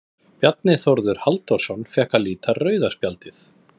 Bjarni Þórður Halldórsson fékk að líta rauða spjaldið.